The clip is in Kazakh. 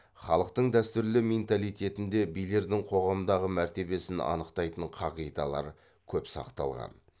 халықтың дәстүрлі менталитетінде билердің қоғамдағы мәртебесін анықтайтын қағидалар көп сақталған